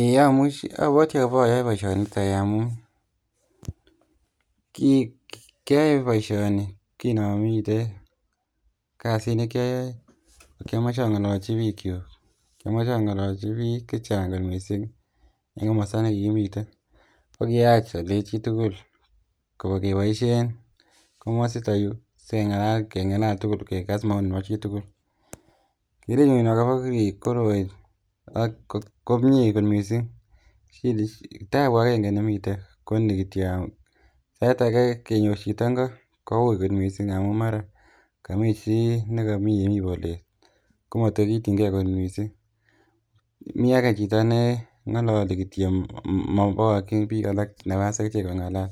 eei amuch abwoti aboyoe boisioniton amun ki kioyoe boisioni kinomiten kasit nekioyoe kokiomoche ang'olochi biik kyuk. kiomoche angololchi biik kyuk, kiomoche ang'olochi biik chechang kot missing en komosta nekikimiten ko kiyach alei chitugul keboisien komosito yuu sikeng'alal keng'alal tugul kekas maoni nebo chitugul. Kerenyun akobo kii koroi ak komie kot missing shida tabu agenge nemiten koni kityo sait ake kenyor chito ngo kouui kot missing amun mara komii chii nekomii yemii bolet komotor kiityingee kot missing, mi ake chito neng'ololi kityo mobokoyin biik alak nafas ak ichek kong'alal.